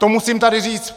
To musím tady říct!